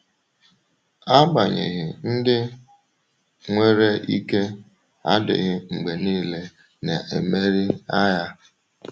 Agbanyeghị, ndị nwere ike adịghị mgbe niile na-emeri agha.